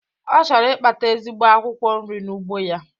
Ọ chọrọ Ịkpata ezigbo akwụkwọ nri n'ugbo ya